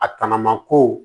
A tɔnɔma ko